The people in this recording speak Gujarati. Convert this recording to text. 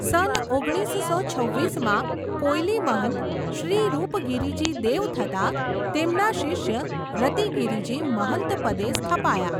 સન ઓગણીસસો છવ્વીસ માં કોયલી મહંત, શ્રી રૂપગિરીજી દેવ થતાં, તેમના શિષ્ય રતિગિરિજી મહંતપદે સ્થપાયા.